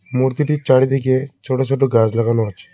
মূর্তিটির চারিদিকে ছোট ছোট গাজ লাগানো আছে।